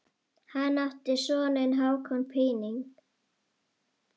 Hann átti soninn Hákon Píning.